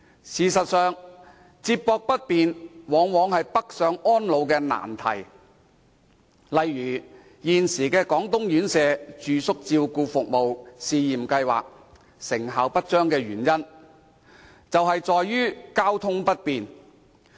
事實上，接駁交通往往是北上安老的難題，例如現時的廣東院舍住宿照顧服務試驗計劃，其成效不彰的原因，正在於交通不便。